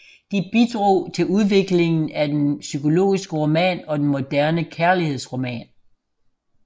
De bidrog til udviklingen af den psykologiske roman og den moderne kærlighedsroman